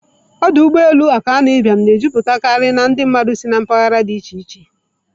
Ọdụ ụgbọ elu Akanu Ibiam na-ejupụtakarị ndị mmadụ si na mpaghara dị iche iche.